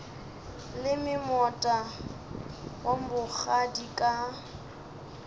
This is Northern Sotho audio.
leme moota wa bogadi ka